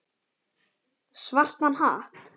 Svartan hatt.